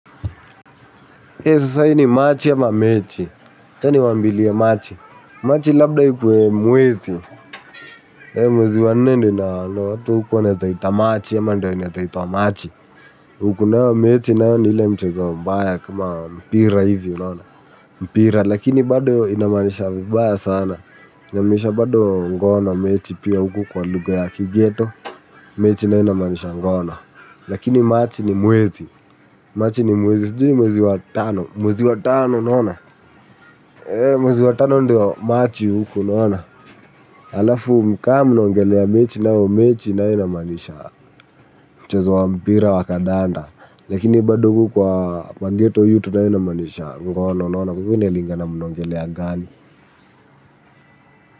Machi labda ikuwe mwezi, mwezi wa nnende na watu huku wanataita machi, yama ndio inataito wa machi. Huku na yo mechi na yo ni hile mchozo mbaya kuma mpira hivyo, mpira, lakini bado inamanisha baya sana. Inamaanisha bado ngono na mechi pia huku kwa lugha ya kighetto, mechi nayo inamaanisha ngono. Lakini machi ni mwezi, machi ni mwezi, sijui ni mwezi wa Tano, Mwezi wa tano unaona. Mwezi wa tano ndio machi unaona. Alafu kama unaongelea mechi nayo mechi inamaanisha mchezo wa mpira wa kandanda lakini bado huku kwa ghetto yutu inamaanisha ngono unaona kwa hivyo inalingana mnaongelea gani.